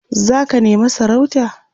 zaka nema sarauta?